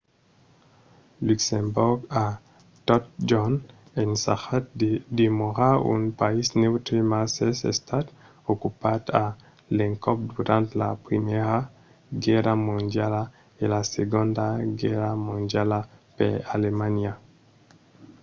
luxemborg a totjorn ensajat de demorar un país neutre mas es estat ocupat a l'encòp durant la primièra guèrra mondiala e la segonda guèrra mondiala per alemanha